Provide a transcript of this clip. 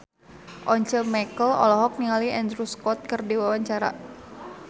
Once Mekel olohok ningali Andrew Scott keur diwawancara